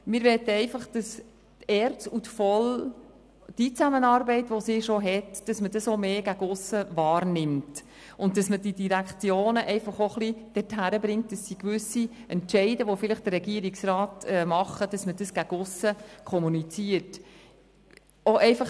Wir möchten einfach, dass man die bestehende Zusammenarbeit von ERZ und VOL auch von aussen mehr wahrnimmt und man die Direktionen auch ein wenig dazu bringt, dass sie gewisse Entscheide, die der Regierungsrat vielleicht trifft, gegen aussen kommunizieren.